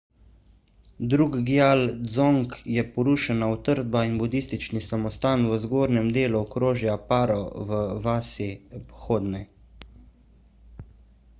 drukgyal dzong je porušena utrdba in budistični samostan v zgornjem delu okrožja paro v vasi phodney